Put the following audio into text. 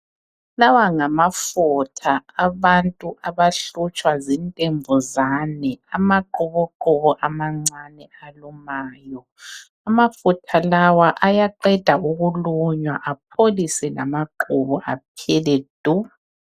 Lawa ngamafutha abantu abahlutshwa zintembuzane, amqhubuqhubu amancane alumayo. Amafutha lawa ayaqeda ukulunywa apholise lamaqhubu aphele du.